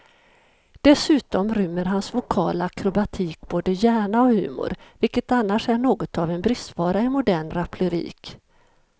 Dessutom rymmer hans vokala akrobatik både hjärna och humor, vilket annars är något av en bristvara i modern raplyrik.